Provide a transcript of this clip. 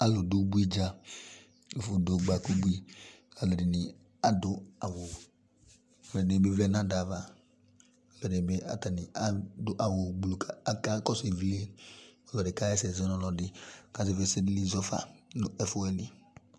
Alʋ dʋ ubui dza, ɛfʋ dʋ ɔgba k'ʋbui, k'alʋ ɛdini adʋ awʋ, alʋ ɛdini bi vlɛ n'ada yɛ ava, alʋ ɛdini bi atani adʋ awʋ ʋblʋ kʋ a aka kɔsʋ ivli Ɔlɔdi kaha ɛsɛ zɔ nʋ ɔlɔdi kazɛvi ɛsɛdili zɔfa nʋ ɛfʋɛdi